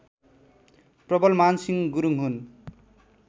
प्रबलमानसिंह गुरुङ हुन्